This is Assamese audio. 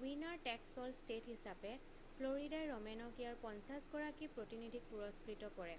উইনাৰ টেকছ অল ষ্টেট হিচাপে ফ্ল'ৰিডাই ৰ'মনেক ইয়াৰ পঞ্চাছগৰাকী প্ৰতিনিধিক পুৰস্কৃত কৰে